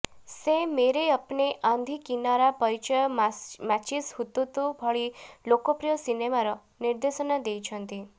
ସେ ମେରେ ଅପନେ ଆନ୍ଧି କିନାରା ପରିଚୟ ମାଚିସ୍ ହୁତୁତୁ ଭଳି ଲୋକପ୍ରିୟ ସିନେମାର ନିର୍ଦ୍ଦେଶନା ଦେଇଛନ୍ତି